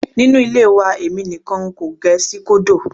Nínú ilé wa èmi nìkan n kò gẹ síkódò.